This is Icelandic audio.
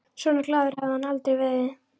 Svona glaður hafði hann aldrei verið.